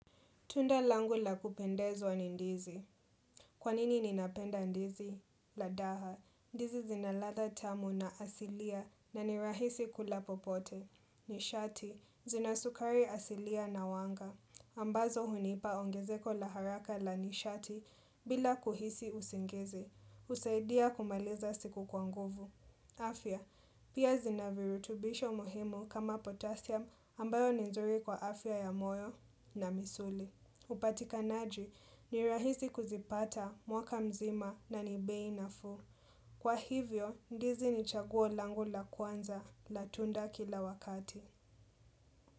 Tunda langu la kupendezwa ni ndizi. Kwanini ninapenda ndizi? Ladha, ndizi zina ladha tamu na asilia na nirahisi kula popote. Nishati. Zinasukari asilia na wanga. Ambazo hunipa ongezeko la haraka la nishati bila kuhisi usingizi. Husaidia kumaliza siku kwa nguvu. Afya, pia zinavirutubisho muhimu kama potasium ambayo ni nzuri kwa afya ya moyo na misuli. Upatikanaji ni rahisi kuzipata mwaka mzima na ni bei nafuu. Kwa hivyo, ndizi ni chaguo langu la kwanza la tunda kila wakati.